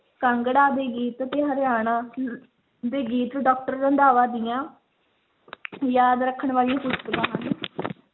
ਕਾਂਗੜਾ ਦੇ ਗੀਤ ਤੇ ਹਰਿਆਣਾ ਦੇ ਗੀਤ doctor ਰੰਧਾਵਾ ਦੀਆਂ ਯਾਦ ਰੱਖਣ ਵਾਲੀਆਂ ਪੁਸਤਕਾਂ ਹਨ